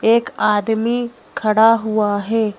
एक आदमी खड़ा हुआ है।